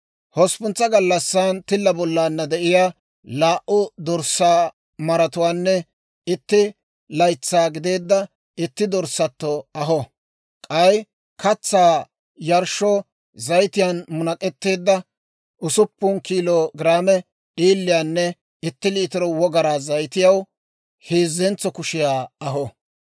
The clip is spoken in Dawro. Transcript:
«Hosppuntsa gallassan tilla bollaanna de'iyaa laa"u dorssaa maratuwaanne itti laytsaa gideedda itti dorssato aho; k'ay katsaa yarshshoo zayitiyaan munak'etteedda usuppun kiilo giraame d'iiliyaanne itti liitiro wogaraa zayitiyaw heezzentso kushiyaa aho.